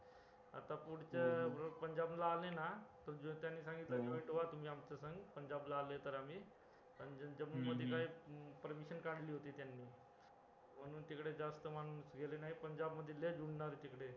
आता पुढच्या वेळेस पंजाब ला आले ना कि त्यांनी सांगितलं कि तुम्ही joint व्हा आमच्यासंग पंजाब ला आले तर आम्ही पण जम्मू मध्ये काही permission काढली होती त्यांनी म्हणून तिकडे जास्त माणूस गेले नाही पंजाब मध्ये लय